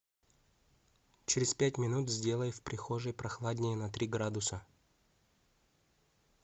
через пять минут сделай в прихожей прохладнее на три градуса